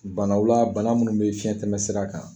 Banaw la , bana munnu be fiɲɛn tɛmɛ sira kan.